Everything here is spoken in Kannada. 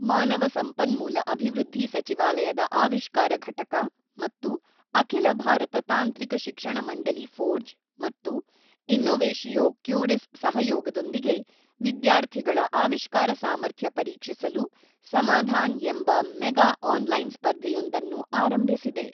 ಮಾನವ ಸಂಪನ್ಮೂಲ ಅಭಿವೃದ್ಧಿ ಸಚಿವಾಲಯದ ಆವಿಷ್ಕಾರ ಘಟಕ ಮತ್ತು ಅಖಿಲ ಭಾರತ ತಾಂತ್ರಿಕ ಶಿಕ್ಷಣ ಮಂಡಳಿ ಫೋರ್ಜ್ ಮತ್ತು ಇನ್ನೋವೆಶಿಯೋ ಕ್ಯೂರಿಸ್ ಸಹಯೋಗದೊಂದಿಗೆ ವಿದ್ಯಾರ್ಥಿಗಳ ಆವಿಷ್ಕಾರ ಸಾಮರ್ಥ್ಯ ಪರೀಕ್ಷಿಸಲು ಸಮಾಧಾನ್ ಎಂಬ ಮೆಗಾ ಆನ್ ಲೈನ್ ಸ್ಪರ್ಧೆಯೊಂದನ್ನು ಆರಂಭಿಸಿದೆ.